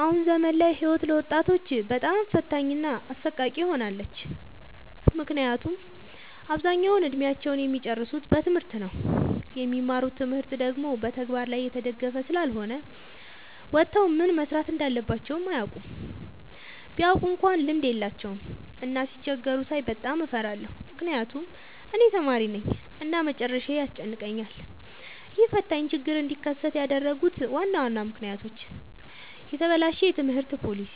አሁን ዘመን ላይ ህይወት ለወጣቶች በጣም ፈታኝ እና አሰቃቂ ሆናለች። ምክንያቱም አብዛኛውን እድሜአቸውን እሚጨርሱት በትምህርት ነው። የሚማሩት ትምህርት ደግሞ በተግበር ላይ የተደገፈ ስላልሆነ ወተው ምን መስራት እንዳለባቸው አያውቁም። ቢያውቁ እንኳን ልምድ የላቸውም። እና ሲቸገሩ ሳይ በጣም እፈራለሁ ምክንያቱም እኔም ተማሪነኝ እና መጨረሻዬ ያስጨንቀኛል። ይህ ፈታኝ ችግር እንዲከሰት ያደረጉት ዋና ዋና ምክንያቶች፦ የተበላሸ የትምህርት ፓሊሲ፣